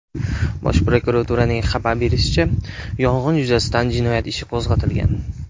Bosh prokuraturaning xabar berishicha , yong‘in yuzasidan jinoyat ishi qo‘zg‘atilgan.